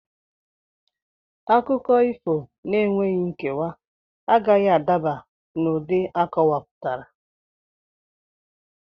Akụkọ ifo n'enweghị nkewa agaghị adaba n'ụdị akọwapụtara.